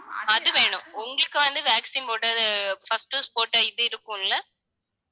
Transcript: அது வேணும் உங்களுக்கு வந்து, vaccine போட்டது first dose போட்ட இது இருக்கும்ல